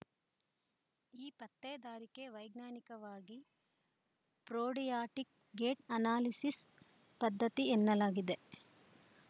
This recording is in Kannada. ಈ ಪತ್ತೇದಾರಿಕೆಗೆ ವೈಜ್ಞಾನಿಕವಾಗಿ ಪ್ರೋಡಿಯಾಟಿಕ್‌ ಗೇಟ್‌ ಅನಾಲಿಸಿಸ್‌ ಪದ್ಧತಿ ಎನ್ನಲಾಗುತ್ತದೆ